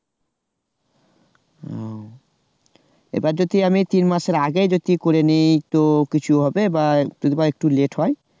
হম এবার যদি আমি তিন মাসের আগেই বেশি করে নি তো কিছু হবে যদি বা একটু লেট হয়?